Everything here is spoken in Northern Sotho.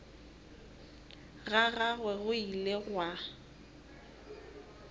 ga gagwe go ile gwa